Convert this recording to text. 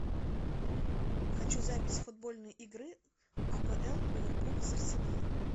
хочу запись футбольной игры апл ливерпуль с арсеналом